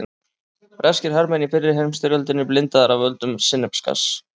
Breskir hermenn í fyrri heimsstyrjöldinni blindaðir af völdum sinnepsgass.